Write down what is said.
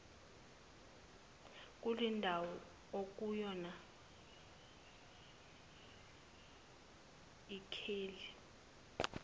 kulendawo okuyona lkheli